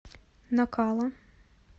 накала